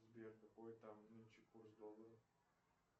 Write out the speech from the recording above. сбер какой там нынче курс доллара